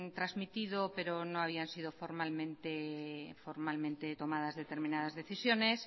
trasmitido pero no habían sido formalmente tomadas determinadas decisiones